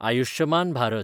Ayushman Bharat